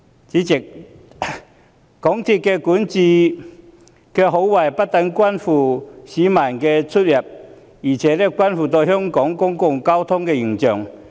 主席，港鐵公司管治的好壞不但關乎市民出行，亦關乎香港公共交通的形象。